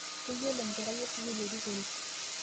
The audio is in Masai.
Keyiolou nkera e sukuul erikore